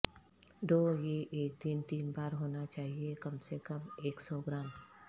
do یہ ایک دن تین بار ہونا چاہئے کم سے کم ایک سو گرام